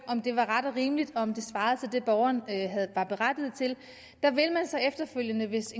om det var ret og rimeligt og om det svarede til det borgeren var berettiget til vil så efterfølgende hvis